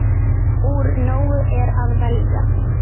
Úr nógu er að velja!